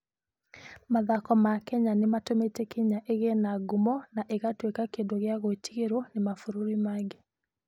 Mathako ma mahenya nĩ matũmĩte Kenya ĩgĩe na ngumo na ĩgatuĩka kĩndũ gĩa gwĩtigĩrũo nĩ mabũrũri mangĩ.